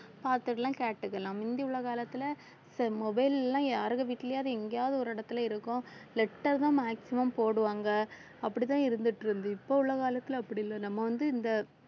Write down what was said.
பாத்துக்கலாம், கேட்டுக்கலாம் முந்தி உள்ள காலத்துல mobile எல்லாம் யாருங்க வீட்டுலயாவது எங்கயாவது ஒரு இடத்துல இருக்கும் letters ஆ maximum போடுவாங்க அப்படிதான் இருந்துட்டு இருந்தது இப்ப உள்ள காலத்துல அப்படி இல்ல நம்ம வந்து இந்த